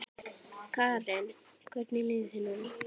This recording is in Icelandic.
Karen: Hvernig líður þér núna?